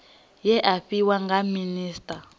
we a fhiwa nga minisita